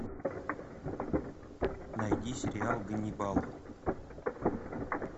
найди сериал ганнибал